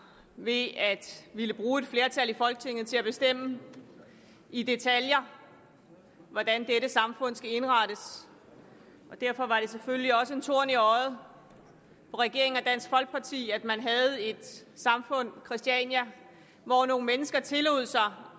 ved at ville bruge et flertal i folketinget til at bestemme i detaljer hvordan dette samfund skal indrettes derfor var det selvfølgelig også en torn i øjet på regeringen og dansk folkeparti at man havde et samfund christiania hvor nogle mennesker tillod sig